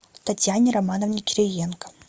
татьяне романовне кириенко